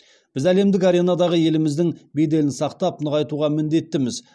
біз әлемдік аренадағы еліміздің беделін сақтап нығайтуға міндеттіміз